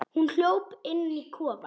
Hún hljóp inn í kofann.